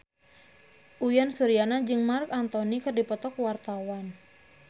Uyan Suryana jeung Marc Anthony keur dipoto ku wartawan